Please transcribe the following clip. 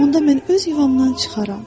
Onda mən öz yuvamdan çıxaram.